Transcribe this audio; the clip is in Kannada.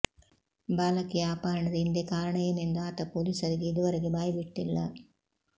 ಬಾಲಕಿಯ ಅಪಹರಣದ ಹಿಂದೆ ಕಾರಣ ಏನೆಂದು ಆತ ಪೊಲೀಸರಿಗೆ ಇದುವರೆಗೆ ಬಾಯ್ಬಿಟ್ಟಿಲ್ಲ